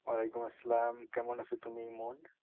ওয়ালাইকুম আসসালাম কেমন আছ তুমি ইমন?